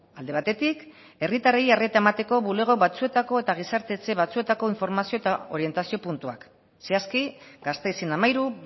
alde batetik herritarrei arreta emateko bulego batzuetako eta gizarte etxe batzuetako informazio eta orientazio puntuak zehazki gasteizen hamairu